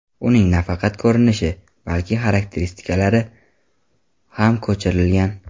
Uning nafaqat ko‘rinishi, balki xarakteristikalari ham ko‘chirilgan.